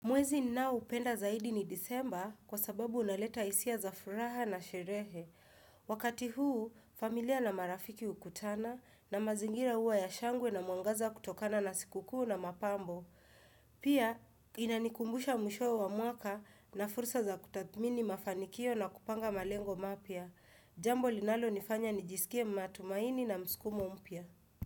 Mwezi ninaoupenda zaidi ni disemba kwa sababu unaleta hisia za furaha na sherehe. Wakati huu, familia na marafiki hukutana na mazingira hua ya shangwe na mwangaza kutokana na sikuku na mapambo. Pia, inanikumbusha mwishowe wa mwaka nina fursa za kutathmini mafanikio na kupanga malengo mapya. Jambo linalonifanya nijisikie matumaini na mskumo mpia.